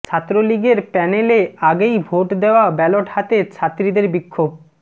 ছাত্রলীগের প্যানেলে আগেই ভোট দেওয়া ব্যালট হাতে ছাত্রীদের বিক্ষোভ